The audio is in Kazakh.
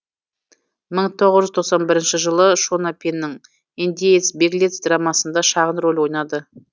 мың тоғыз жүз тоқсан бірінші жылы шона пенның индеец беглец драмасында шағын рөл ойнады